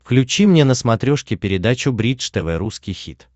включи мне на смотрешке передачу бридж тв русский хит